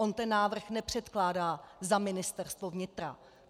On ten návrh nepředkládá za Ministerstvo vnitra.